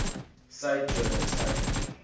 cite journal title